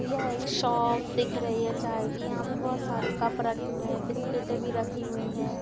यह एक शॉप दिख रही है चाय की यहाँ पे बहुत सारे कप रखे हुए है बिस्किट रखी हुई हैं।